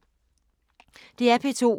DR P2